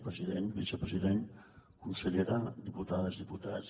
president vicepresident consellera diputades diputats